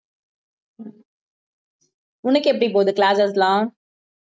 உனக்கு எப்படி போகுது classes எல்லாம்